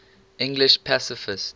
english pacifists